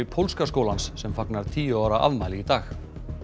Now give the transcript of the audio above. pólska skólans sem fagnar tíu ára afmæli í dag